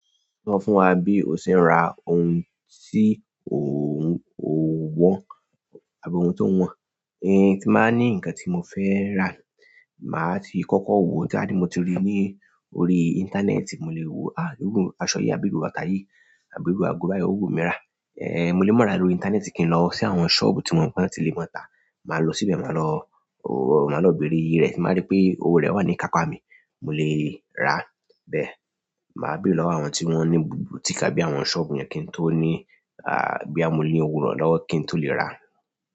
Sọ fún wa bí o ṣe ń ra ohun tí ò ń wọ àbí ohun tó wọ̀n. Ti n ba ni nǹkan ti mo fe raa maa ti koko ri ni orí íńtánẹ́ẹ̀tì ẹ̀, mo lè mọ̀ ara orí íńtánẹ́ẹ̀tì kí n lọ sí àwọn ṣọ́ọ̀bù tí wọ́n mọ̀ pé ó ti lè mọ̀ táa. Màá lọ síbẹ̀, màá lọ, ò, màá lọ bèrè rẹ̀ tí màá rí pé ohun rẹ̀ wà ní káká mi, mo lè rà bẹ́ẹ̀. Màá bèrè lọ́wọ́ àwọn tí wọ́n ní bùtíìkì àbí àwọn ṣọ́ọ̀bù yẹn kí n tó ní, àá, bí a mo ní òwúrọ̀ lọ́wọ́ kí n tó lè rà.